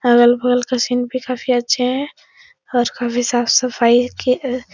अगल बगल का सीन भी काफी अच्छे हैं और काफी साफ सफाई की अ --